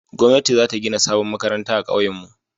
gwamnati za ta gina sabon makaranta a kauyen mu